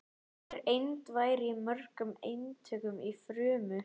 Hver eind væri í mörgum eintökum í frumu.